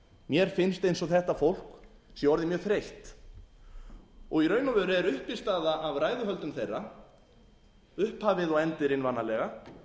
mér finnst eins og þetta fólk sé orðið mjög þreytt og í raun og veru er uppistaða af ræðuhöldum þeirra upphafið og endirinn vanalega